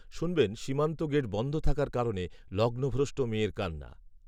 শুনবেন সীমান্ত গেট বন্ধ থাকার কারণে লগ্নভ্রষ্ট মেয়ের কান্না